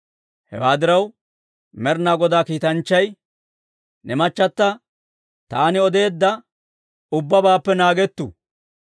Hewaa diraw Med'inaa Godaa kiitanchchay, «Ne machchata taani odeedda ubbabaappe naagettu.